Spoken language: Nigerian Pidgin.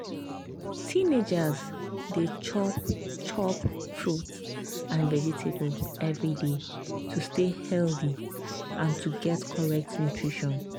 teenagers dey chop chop fruits and vegetables every day to stay healthy and to get correct nutrition.